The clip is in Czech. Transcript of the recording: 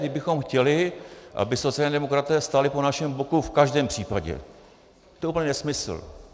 Kdybychom chtěli, aby sociální demokraté stáli po našem boku v každém případě, to je úplný nesmysl.